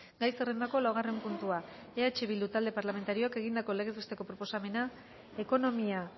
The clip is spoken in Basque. gai zerrendako laugarren puntua eh bildu talde parlamentarioak egindako legez besteko proposamena ekonomia